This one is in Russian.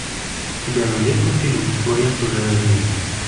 у тебя найдется фильм своя чужая жизнь